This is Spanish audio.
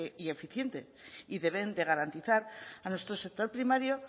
y eficientes y deben de garantizar a nuestro sector primario